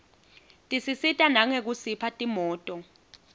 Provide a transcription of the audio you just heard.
tisisita nangekusipha timoto